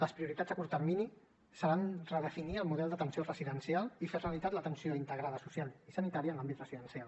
les prioritats a curt termini seran redefinir el model d’atenció residencial i fer realitat l’atenció integrada social i sanitària en l’àmbit residencial